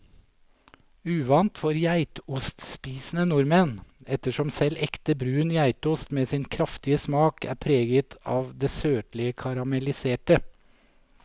Uvant for geitostspisende nordmenn, ettersom selv ekte brun geitost med sin kraftige smak er preget av det søtlige karamelliserte.